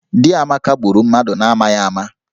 Di Amaka gburu mmadụ n'amaghị ama